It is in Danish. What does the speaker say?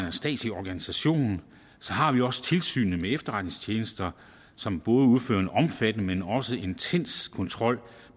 en statslig organisation så har vi også tilsynet med efterretningstjenester som både udfører en omfattende og også en intens kontrol